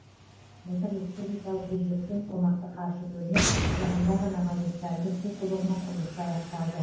былтыр республикалық бюджеттен қомақты қаржы бөлініп жақында ғана магистральді су құбырының құрылысы аяқталды